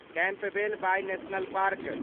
Campbell Bay national park